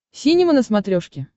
синема на смотрешке